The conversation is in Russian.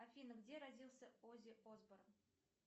афина где родился оззи осборн